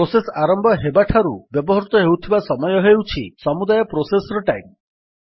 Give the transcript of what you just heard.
process ଆରମ୍ଭ ହେବାଠାରୁ ବ୍ୟବହୃତ ହେଉଥିବା ସମୟ ହେଉଛି ସମୁଦାୟ ପ୍ରୋସେସର୍ ଟାଇମ୍